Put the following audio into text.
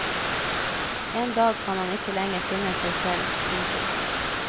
En dag kan han ikke lenger finne seg selv. punktum